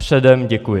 Předem děkuji.